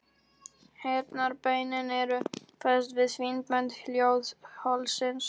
Heyrnarbeinin eru fest við fín bönd hljóðholsins.